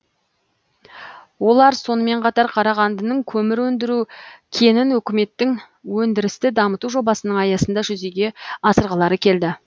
олар сонымен қатар қарағандының көмір өндіру кенін өкіметтің өндірісті дамыту жобасының аясында жүзеге асырғылары келді